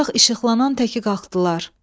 Otaq işıqlanan təki qalxdılar.